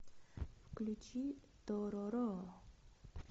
включи тороро